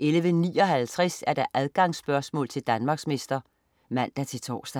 11.59 Adgangsspørgsmål til Danmarksmester (man-tors)